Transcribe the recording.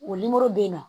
O bɛ na